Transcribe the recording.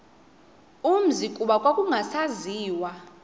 umzi kuba kwakungasaziwa